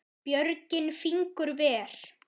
Björgin fingur ver.